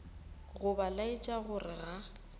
go ba laetša gore ga